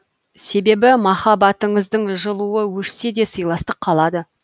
себебі махаббатыңыздың жылуы өшсе де сыйластық қалады